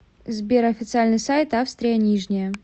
сбер официальный сайт австрия нижняя